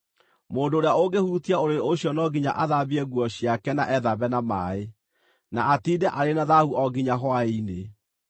Mũndũ ũrĩa ũngĩhutia ũrĩrĩ ũcio no nginya athambie nguo ciake na ethambe na maaĩ, na atiinde arĩ na thaahu o nginya hwaĩ-inĩ.